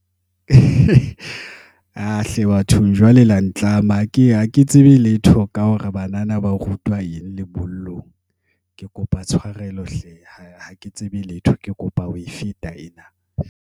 Ah hle bathong jwale la ntlama. Ha ke ha ke tsebe letho ka hore banana ba rutwa eng lebollong. Ke kopa tshwarelo hle, ha ke tsebe letho. Ke kopa ho e feta ena.